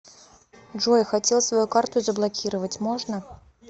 джой хотел свою карту заблокировать можно